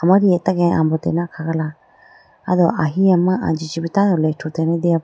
Amari atage ambotene akhagala aw do ahiya ma anji chibo tando rethutene deya po.